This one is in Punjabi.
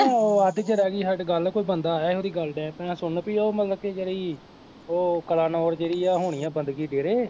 ਉਹ ਅੱਧ ਚ ਰਹਿ ਗਈ ਸਾਡੀ ਗੱਲ ਕੋਈ ਬੰਦਾ ਆਇਆ ਸੀ ਉਹਦੀ ਗੱਲ ਡਹਿ ਪਿਆ ਸੁਣਨ ਵੀ ਉਹ ਮਤਲਬ ਕਿ ਜਿਹੜੀ ਉਹ ਕਲਾਨੋਰ ਜਿਹੜੀ ਆ ਹੋਣੀ ਆਂ ਬੰਦਗੀ ਡੇਰੇ